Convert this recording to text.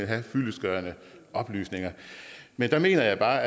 have fyldestgørende oplysninger men der mener jeg bare